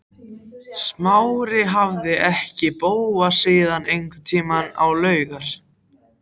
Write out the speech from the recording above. Smári hafði ekki hitt Bóas síðan einhvern tíma á laugar